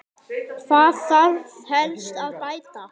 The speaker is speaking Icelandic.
Hvað þarf helst að bæta?